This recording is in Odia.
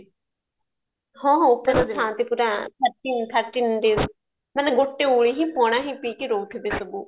ହଁ ଓପାସ ଥାଆ ନ୍ତି ପୁରା thirteen thirteen days ମାନେ ଗୋଟେ ଓଳି ହିଁ ପଣା ହିଁ ପିଇକି ରହୁଥିବେ ସବୁ